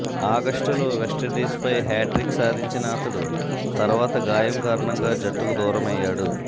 ఆగస్టులో వెస్టిండీస్పై హ్యాట్రిక్ సాధించిన అతడు తర్వాత గాయం కారణంగా జట్టుకు దూరమయ్యాడు